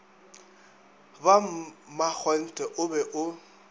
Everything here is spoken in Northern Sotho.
ba makgonthe o be o